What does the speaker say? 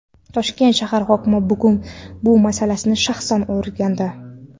Toshkent shahar hokimi bugun bu masalani shaxsan o‘rgandi.